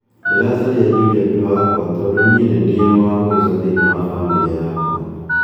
"'Ndĩracaria Juliet wakwa tondũ niĩ nĩ niĩ wa mũico thĩinĩ wa famĩlĩ yakwa."